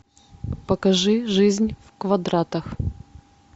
покажи жизнь в квадратах